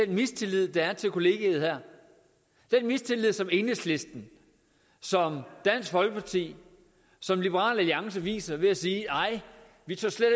den mistillid der er til kollegerne her den mistillid som enhedslisten som dansk folkeparti som liberal alliance viser ved at sige nej vi tør slet